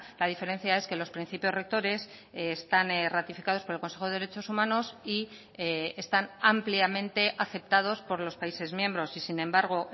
la diferencia es que los principios rectores están ratificados por el consejo de derechos humanos y están ampliamente aceptados por los países miembros y sin embargo